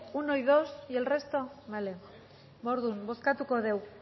uno y dos y el resto vale ba orduan bozkatuko dugu